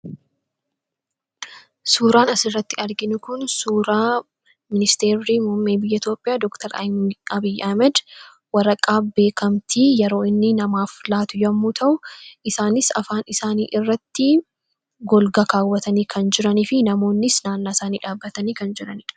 Suuraan asirratti arginu kun suuraa ministeerri biyya Itoophiyaa Dooktar Abiyyi Ahmad waraqaa beekamtii yeroo inni namaaf laatu yommuu ta'u, isaanis afaan isaanii irratti golga kaawwatanii kan jiranii fi namoonnis naannaa isaanii dhaabbatanii kan jiranidha.